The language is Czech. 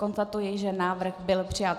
Konstatuji, že návrh byl přijat.